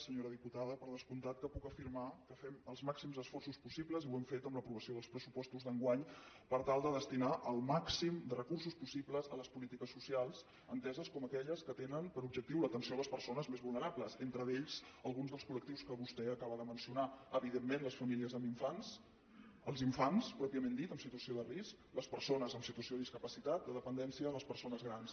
senyora diputada per descomptat que puc afirmar que fem els màxims esforços possibles i ho hem fet amb l’aprovació dels pressupostos d’enguany per tal de destinar el màxim de recursos possibles a les polítiques socials enteses com aquelles que tenen per objectiu l’atenció a les persones més vulnerables entre elles alguns dels col·les famílies amb infants els infants pròpiament dit en situació de risc les persones en situació de discapacitat de dependència les persones grans